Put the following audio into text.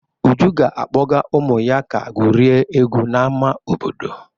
Uju ga-akpọga ụmụ ya ka gwurie egwu n'ama obodo.